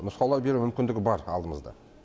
нұсқаулар беру мүмкіндігі бар алдымызда